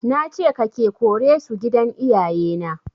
Nace ka/ke kore su a gidan iyaye na